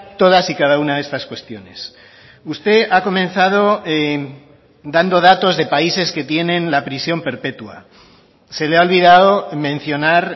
todas y cada una de estas cuestiones usted ha comenzado dando datos de países que tienen la prisión perpetua se le ha olvidado mencionar